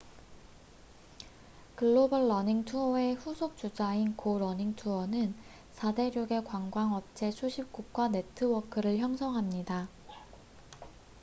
글로벌 러닝 투어의 후속 주자인 고 런닝 투어는 4대륙의 관광 업체 수십 곳과 네트워크를 형성합니다